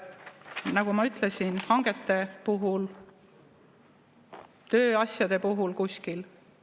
Nagu ma ütlesin, hangete puhul, tööasjade puhul kuskil.